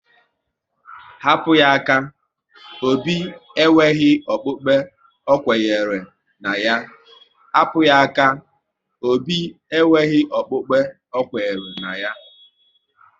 Hapụ ya aka! Obi e nweghị okpukpe ọkwenyere na ya